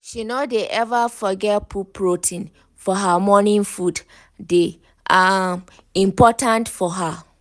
she no dey ever forget put protein for her morning foode dey um important for her.